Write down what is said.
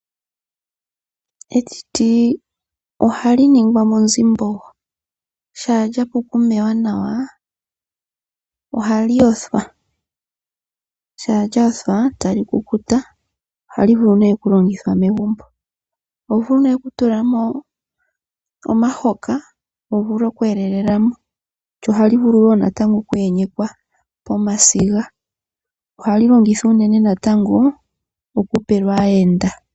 Etiti ohali ningwa monzimbogo shampa lyapu okumewa nawa ohali yothwa, shampa lyayothwa tali kukuta, ohali vulu nee okulongithwa megumbo. Oho vulu nee oku tulamo omahoka, wuvule oku yelelamo. Ohali vulu wo natango oku yenyekwa pomasiga. Ohali longithwa uunene natango oku pelwa aayenda.